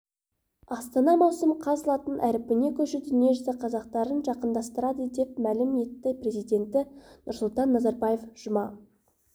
астана маусым қаз латын һарпіне көшу дүниежүзі қазақтарын жақындастырады деп мәлім етті президенті нұрсұлтан назарбаев жұма